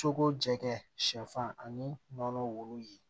Cogo jɛ sɛfan ani nɔnɔmugu ye